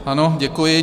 Ano, děkuji.